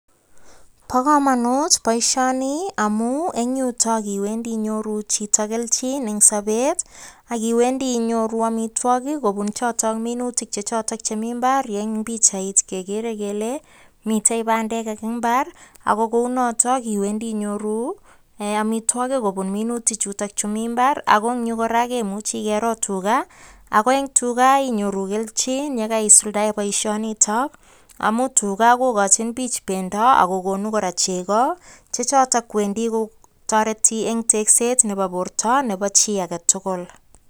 Bo kamanut boisioni amun eng yutok iwendi inyoru chito kelchin eng sobet ak iwendi inyoru amitwokik kobun chotok minutik chechoto chemi imbaar, ye eng pichait kegeere kele mitei bandek eng imbaar ako kounotok iwendi inyoru amitwokik kobun minutik chutokchu mi imbaar. Ako eng yu kora, kemuchi kero tuga, ako eng tuga inyoru kelchin ye kaisuldae boisionitok amun tuga kokochin biik pendo ako kokonu kora chego chechoto wendi kotoreti eng tekset nebo borto nebo chi age tugul.